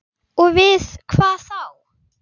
Og við hvað þá?